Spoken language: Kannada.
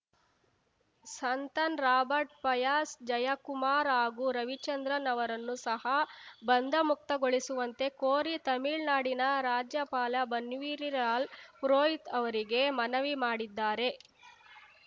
ಸಂತನ್‌ ರಾಬರ್ಟ್‌ ಪಯಾಸ್‌ ಜಯಕುಮಾರ್‌ ಹಾಗೂ ರವಿಚಂದ್ರನ್‌ ಅವರನ್ನು ಸಹ ಬಂಧಮುಕ್ತಗೊಳಿಸುವಂತೆ ಕೋರಿ ತಮಿಳ್ನಾಡಿನ ರಾಜ್ಯಪಾಲ ಬನ್ವರಿಲಾಲ್‌ ಪುರೋಹಿತ್‌ ಅವರಿಗೆ ಮನವಿ ಮಾಡಿದ್ದಾರೆ